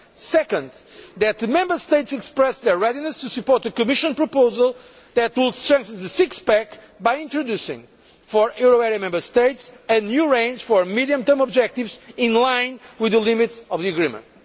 Second, that the Member States express their readiness to support a Commission proposal that will strengthen the six pack' by introducing, for euro area Member States, a new range of medium term objectives in line with the limits of the agreement.